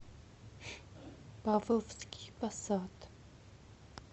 павловский посад